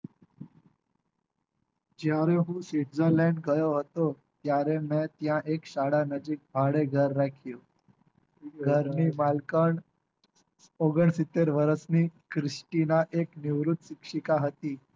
જયારે હું switzerland ગયો હતો ત્યારે મેં ત્યાં એક શાળા નજીક ભાડે ઘર રાખ્યું હતું ઘર ની માલકણ ઓગન સિત્તેર વર્ષ ની ના એક નિવૃત શિક્ષિકા હતી.